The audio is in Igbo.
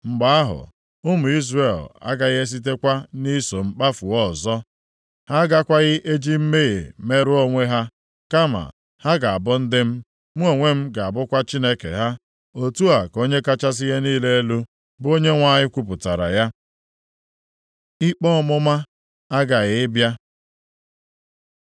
Mgbe ahụ, ụmụ Izrel agaghị esitekwa nʼiso m kpafuo ọzọ. + 14:11 Maọbụ, wezuga onwe ha Ha agakwaghị eji mmehie merụọ onwe ha, kama ha ga-abụ ndị m, mụ onwe m ga-abụkwa Chineke ha. Otu a ka Onye kachasị ihe niile elu, bụ Onyenwe anyị kwupụtara ya.’ ” Ikpe ọmụma aghaghị ịbịa